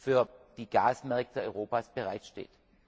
für die Gasmärkte Europas bereitsteht.